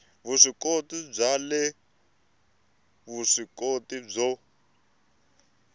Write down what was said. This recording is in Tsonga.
vuswikoti bya le vuswikoti byo